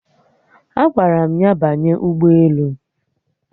Agwara m ya banye ugboelu